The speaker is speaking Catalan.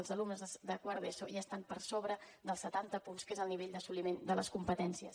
els alumnes de quart d’eso ja estan per sobre dels setanta punts que és el nivell d’assoliment de les competències